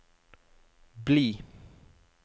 bli